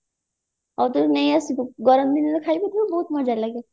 ହଉ ତାହେଲେ ନେଇ ଆସିବୁ ଗରମ ଦିନରେ ଖାଇବୁ ବହୁତ ମଜା ଲାଗେ